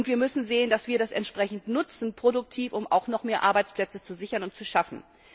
Wir müssen sehen, dass wir das entsprechend produktiv nutzen, um noch mehr Arbeitsplätze zu sichern und zu schaffen.